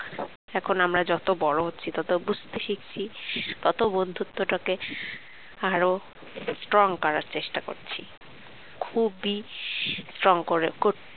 এখন আমরা যত বড় হচ্ছি তত বুঝতে শিখছি তত বন্ধুত্বটাকে আরো strong করার চেষ্টা করছি খুবই strong করা করতে